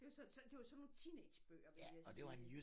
Det jo sådan nogle teenage bøger vil jeg sige